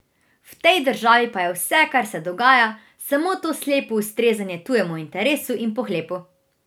V tej državi pa je vse, kar se dogaja, samo to slepo ustrezanje tujemu interesu in pohlepu!